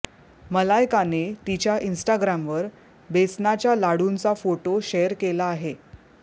मलायकाने तिच्या इन्स्टाग्रामवर बेसनाच्या लाडूंचा फोटो शेअर केला आहे